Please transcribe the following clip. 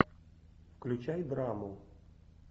включай драму